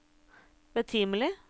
betimelig